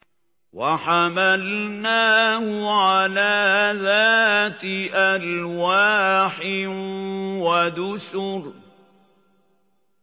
وَحَمَلْنَاهُ عَلَىٰ ذَاتِ أَلْوَاحٍ وَدُسُرٍ